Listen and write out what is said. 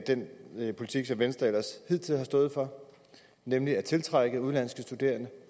den politik som venstre ellers hidtil har stået for nemlig at tiltrække udenlandske studerende